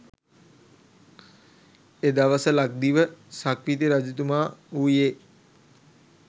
එදවස ලක්දිව සක්විති රජතුමා වූයේ